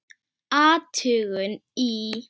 Athugun í